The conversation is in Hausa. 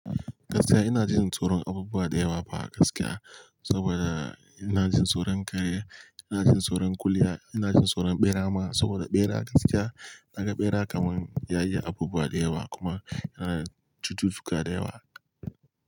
Gaskiya ina jin tsoron abubuwa da yawa fa gaskiya, saboda ina jin tsoron kare, ina jin tsoron kulya, ina jin tsoron ɓera ma saboda ɓera gaskiya naga ɓera kamar yayi abubuwa da yawa kuma yana da cututtuka da yawa.